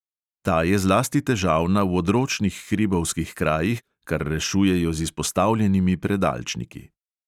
Ta je zlasti težavna v odročnih hribovskih krajih, kar rešujejo z izpostavljenimi predalčniki.